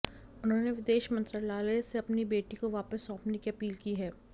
उन्होंने विदेश मंत्रालय से अपनी बेटी को वापस सौंपने की अपील की है